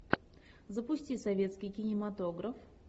запусти советский кинематограф